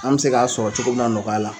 An bɛ se k'a sɔrɔ cogo min na nɔgɔya la.